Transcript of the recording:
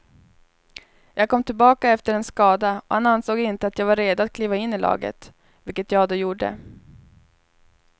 Jag kom tillbaka efter en skada och han ansåg inte att jag var redo att kliva in i laget, vilket jag då gjorde.